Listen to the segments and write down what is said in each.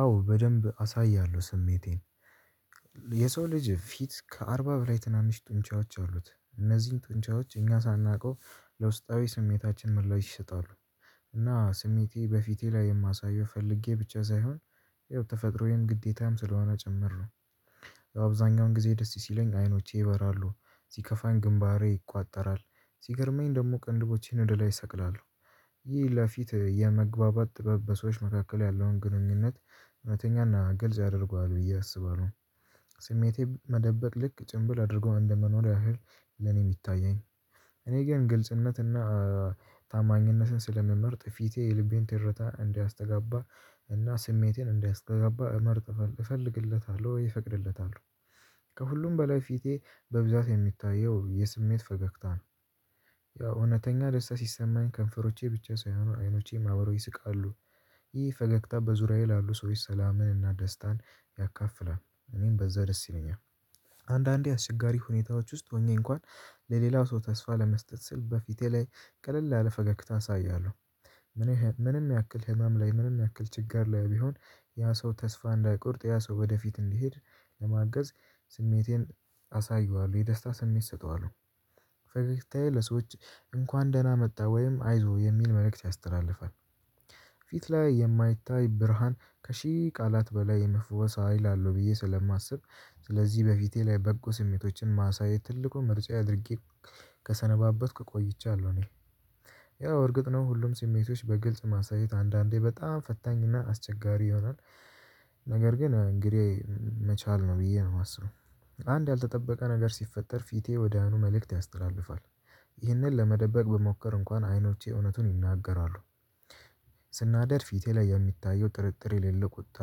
አዎ በደንብ አሳያለሁ ስሜቴን የሰው ልጅ ፊት ከአርባ በላይ ትናንሽ ጡንቻዎች አሉት እነዚህን ጡንቻዎች እኛ ሳናውቀው ለውስጣዊ ስሜታችን መላው ይሸጣሉ። እና ስሜቴ በፊቴ ላይ የማሳየው ፈልጌ ብቻ ሳይሆን ይኸው ተፈጥሮዬን ግዴታም ስለሆነ ጭምር ነው። በአብዛኛው ጊዜ ደስ ሲለኝ አይኖቼ ይበራሉ ሲከፋኝ ግንባሬ ይቋጠራል ሲገርመኝ ደግሞ ቅንድቦቼን ወደ ላይ እሰቅላለሁ ይህ ለፊት የመግባባት ጥበብ በሰዎች መካከል ያለውን ግንኙነት እውነተኛና ግልጽ አድርጓል ብዬ አስባለሁ። ስሜቴ መደበቅ ልክ ጭምብል አድርጎ እንደመኖር ያህል ለኔ የሚታየኝ። እኔ ግን ግልጽነትና ታማኝነትን ስለምመርጥ ፊቴ የልቤን ትርታ እንዲያስተጋባ እና ስሜቴን እንዲያስተጋባ እመርጥ እፈልግለታለሁ እፈቅድለታሁ። ከሁሉም በላይ ፊቴ በብዛት የሚታየው የስሜት ፈገግታ ነው። ያው እውነተኛ ደስታ ሲሰማኝ ከንፈሮቼ ብቻ ሳይሆኑ አይኖቼን አብረው ይስቃሉ። ይህ ፈገግታ በዙሪያዬ ላሉ ሰዎች ሰላምንና ደስታን ያካፍላል እኔም በዛ ደስ ይለኛል። አንዳንዴ አስቸጋሪ ሁኔታዎች ውስጥ ሆኜ እንኳን ለሌላው ሰው ተስፋ ለመስጠት ስል በፊቴ ላይ ቀለል ያለ ፈገግታ አሳያለሁ። ምንም ያክል ህመም ላይ ምንም ያክል ችጋር ላይ ቢሆን ያ ሰው ተስፋ እንዳይቆርጥ ያ ሰው ወደፊት እንዲሄድ ለማገዝ ስሜቴን አሳየዋለሁ የደስታ ስሜት እሰጠዋለሁ። ፈገግታዬ ለሰዎች እንኳን ደህና መጣ ወይም አይዞህ የሚል መልእክት ያስተላልፋል። ፊት ላይ የማይታይ ብርሃን ከሺህ ቃላት በላይ የመፈወስ ሀይል አለው ብዬ ስለማስብ። ስለዚህ በፊቴ ላይ በጎ ስሜቶችን ማሳየት ትልቁ ምርጫ አድርጌ ከሰነባበትክ ቆይቻለሁ እኔ ያው እርግጥ ነው ሁሉም ስሜቶች በግልጽ ማሳየት አንዳንዴ በጣም ፈታኝና አስቸጋሪ ይሆናል። ነገር ግን እንግዲህ መቻል ነው ብዬ ነው የማስለው። አንድ ያልተጠበቀ ነገር ሲፈጠር ፊቴ ወደያኑ መልእክት ያስተላልፋል። ይህንን ለመደበቅ ብሞክር እንኳን አይኖቼ እውነቱን ይናገራሉ። ስናደድ ፊቴ ላይ የሚታየው ጥርጥር የሌለው ቁጣ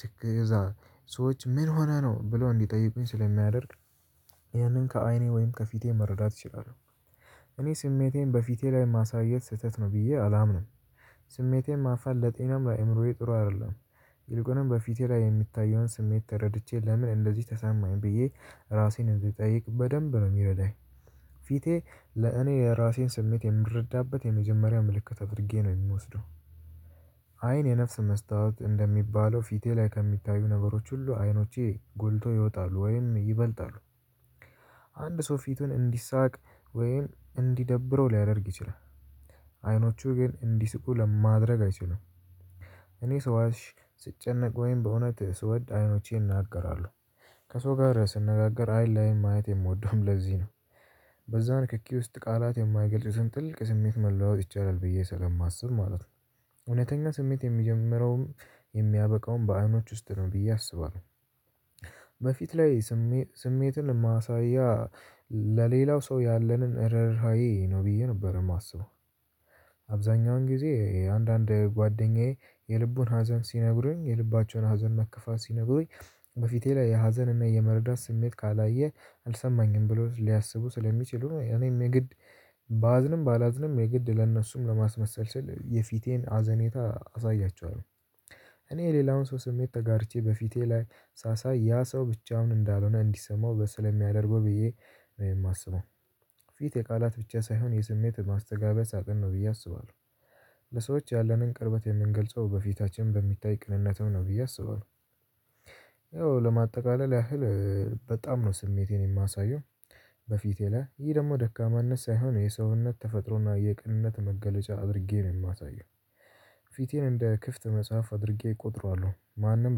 ትክ እዛ ሰዎች ምንሁነህ ነው ብለው እንዲጠይቁኝ ስለሚያደርግ። ያንን ከአይኔ ወይም ከፊቴ መረዳት እችላለሁ። እኔ ስሜቴን በፊቴ ላይ ማሳየት ስህተት ነው ብዬ አላምንም። ስሜቴን ማፋን ለጤናም ለአእምሮዬ ጥሩ አይደለም። ይልቁንም በፊቴ ላይ የሚታየውን ስሜት ተረድቼ ለምን እንደዚህ ተሰማኝ ብዬ ራሴን እንድጠይቅ በደንብ ነው የሚረዳኝ። ፊቴ ለእኔ ለራሴን ስሜት የምረዳበት የመጀመሪያው ምልክት አድርጌ ነው የምወስደው። አይን የነፍስ መስታወት እንደሚባለው ፊቴ ላይ ከሚታዩ ነገሮች ሁሉ አይኖቼ ጎልቶ ይወጣሉ ወይም ይበልጣሉ። አንድ ሰው ፊቱን እንዲሳቅ ወይም እንዲደብረው ሊያደርግ ይችላል። አይኖቹ ግን እንዲስቁ ለማድረግ አይችልም። እኔ ሰዋሽ ስጨነቅ ወይም በእውነት ስወድ አይኖቼን ይናገራሉ። ከሰው ጋር ስነጋገር አይል ላይም ማየት የምወደውም ለዚህ ነው በዛ ንክኪ ውስጥ ቃላት የማይገልጥ ጥልቅ ስሜት መለዋወጥ ይቻላል ብዬ ስለማስብ ማለት ነው። እውነተኛ ስሜት የሚጀምረውም የሚያበቃውም በአይኖች ውስጥ ነው ብዬ አስባለሁ። በፊት ላይ ስሜትን ማሳያ ለሌላው ሰው ያለንን ረርሃዬ ነው ብዬ ነበር የማስበው። አብዛኛውን ጊዜ አንዳንድ ጓደኛዬ የልቡን ሀዘን ሲነግሩኝ የልባቸውን ሀዘን መከፋት ሲነግሩኝ በፊቴ ላይ የሀዘንና የመረዳት ስሜት ካላየህ አልሰማኝም ብሎ ሊያስቡ ስለሚችሉ እኔም የግድ ባዝንም ባላዝንም የግድ ለእነሱም ለማስመሰል ስል የፊቴን ሀዘኔታ አሳያችኋለሁ። እኔ ሌላውን ሰው ስሜት ተጋርቼ በፊቴ ላይ ሳሳይ ያ ሰው ብቻው እንዳልሆነ እንዲሰማው በስል የሚያደርገው ብዬ የማስበው። ፊት የቃላት ብቻ ሳይሆን የስሜት ማስተጋበያ ሳጥን ነው ብዬ አስባለሁ። ለሰዎች ያለንን ቅርበት የምንገልጸው በፊታችን በሚታይ ቅንነትም ነው ብዬ አስባለሁ። ያው ለማጠቃለል ያህል በጣም ነው ስሜቴን የማሳየው በፊቴ ላይ ይሄ ደግሞ ደካማነት ሳይሆን የሰውነት ተፈጥሮና የቅንነት መገለጫ አድርጌ ነው የማሳየው። ፊቴን እንደ ክፍት መጽሐፍ አድርጌ እቆጥረዋለሁ ማንም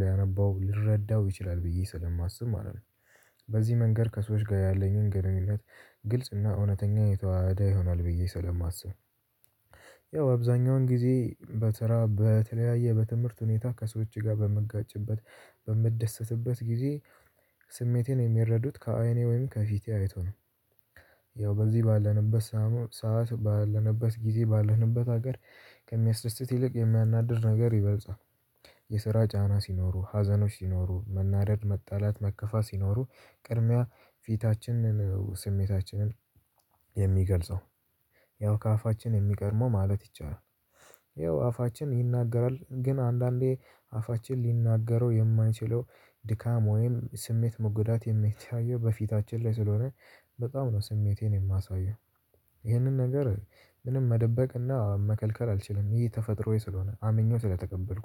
ሊያነበው ሊረዳው ይችላል ብዬ ስለማስብ ማለት ነው። በዚህ መንገድ ከሰዎች ጋር ያለኝን ገነኝነት ግልጽና እውነተኛ የተዋሃደ ይሆናል ብዬ ስለማስብ። ያው አብዛኛውን ጊዜ በስራ በተለያየ በትምህርት ሁኔታ ከሰዎች ጋር በምጋጭበት በምደሰትበት ጊዜ ስሜቴን የሚረዱት ከአይኔ ወይም ከፊቴ አይቶ ነው። ያው በዚህ ባለንበት ሰዓት ባለንበት ጊዜ ባለንበት ሀገር ከሚያስደስት ይልቅ የሚያናድር ነገር ይበልጻል። የስራ ጫና ሲኖሩ ሀዘኖች ሲኖሩ መናደድ መጣላት መከፋት ሲኖሩ ቅድሚያ ፊታችንን ስሜታችንን የሚገልጸው ያው ከአፋችን የሚቀድመው ማለት ይቻላል። ያው አፋችን ይናገራል ግን አንዳንዴ አፋችን ሊናገረው የማንችለው ድካም ወይም ስሜት መጎዳት የሚታየው በፊታችን ላይ ስለሆነ በጣም ነው ስሜቴን የማሳየው። ይህንን ነገር ምንም መደበቅና መከልከል አልችልም ይሄ ተፈጥሮዬ ስለሆነ አምኜው ስለተቀበልኩት